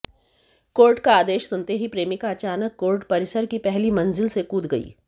court का आदेश सुनते ही प्रेमिका अचानक कोर्ट परिसर की पहली मंजिल से कूद गई